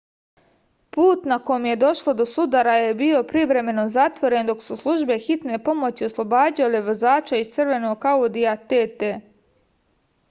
put na kom je došlo do sudara je bio privremeno zatvoren dok su službe hitne pomoći oslobađale vozača iz crvenog audija tt